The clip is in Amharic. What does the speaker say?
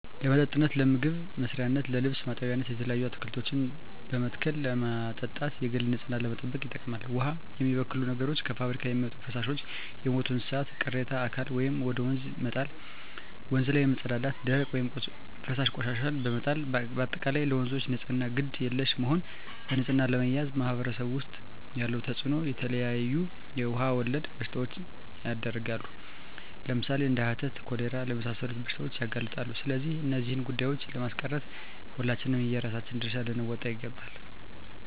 ለመጠጥነት ለምግብ መስሪያነት ለልብስ ማጠቢያነት የተለያዩ አትክልቶችን በመትከል ለማጠጣት የግል ንፅህናን ለመጠበቅ ይጠቅማል ዉሃን የሚበክሉ ነገሮች - ከፍብሪካ የሚወጡ ፈሳሾች - የሞቱ የእንስሳት ቅሬታ አካል ወደ ወንዝ መጣል - ወንዝ ላይ መፀዳዳት - ደረቅ ወይም ፈሳሽ ቆሻሻዎችን በመጣል - በአጠቃላይ ለወንዞች ንፅህና ግድ የለሽ መሆን በንፅህና አለመያዝ በማህበረሰቡ ዉስጥ ያለዉ ተፅእኖ - የተለያዩ የዉሃ ወለድ በሽታዎች ይዳረጋሉ ለምሳሌ፦ እንደ ሀተት፣ ኮሌራ ለመሳሰሉት በሽታዎች ያጋልጡናል ስለዚህ እነዚህን ጉዳቶችን ለማስቀረት ሁላችንም የየራሳችን ድርሻ ልንወጣ ይገባል